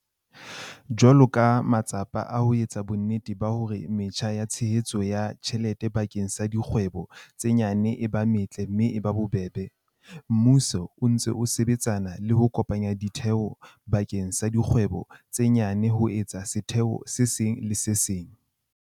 Jwalo ka matsapa a ho etsa bonnete ba hore metjha ya tshehetso ya tjhelete bakeng sa dikgwebo tse nyane e ba metle mme e ba bobebe, mmuso o ntse o sebetsana le ho kopanya ditheo bakeng sa dikgwebo tse nyane ho etsa setheo se le seng.